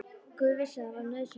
Guð vissi að það var nauðsynlegt.